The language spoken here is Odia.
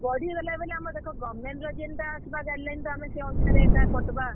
ଇଟା ବଢେଇ ଦେଲେ ବେଲେ, ଆମର୍ ଦେଖ government ର ଜେନ୍ ଟା ଆସ୍ ବା guideline ତ ଆମେ ସେ ଅନୁସାରେ ଏକା କଟ୍ ବା।